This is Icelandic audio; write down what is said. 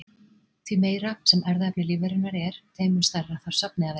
Því meira sem erfðaefni lífverunnar er þeim mun stærra þarf safnið að vera.